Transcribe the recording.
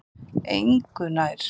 Engu nær.